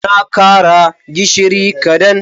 Na kara gishiri kadan.